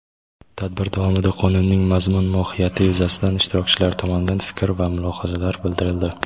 Tadbir davomida Qonunning mazmun-mohiyati yuzasidan ishtirokchilar tomonidan fikr va mulohazalar bildirildi.